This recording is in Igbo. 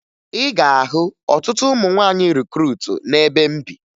Ị ga-ahụ ọtụtụ ụmụ nwaanyị rikruutu n'ebe m bi